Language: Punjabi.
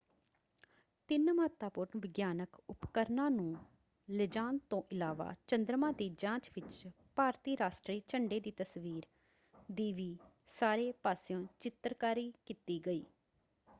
ਤਿੰਨ ਮਹੱਤਵਪੂਰਣ ਵਿਗਿਆਨਕ ਉਪਰਕਰਣਾਂ ਨੂੰ ਲਿਜਾਣ ਤੋਂ ਇਲਾਵਾ ਚੰਦਰਮਾ ਦੀ ਜਾਂਚ ਵਿੱਚ ਭਾਰਤੀ ਰਾਸ਼ਟਰੀ ਝੰਡੇ ਦੀ ਤਸਵੀਰ ਦੀ ਵੀ ਸਾਰੇ ਪਾਸਿਓਂ ਚਿੱਤਰਕਾਰੀ ਕੀਤੀ ਗਈ।